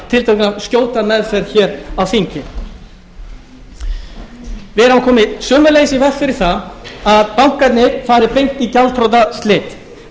tiltölulega skjóta meðferð hér á þingi við höfum sömuleiðis komið í veg fyrir það að bankarnir fari beint í gjaldþrotaslit